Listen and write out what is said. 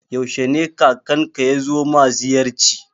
Yaushe ne kakanka yazo ma ziyarci?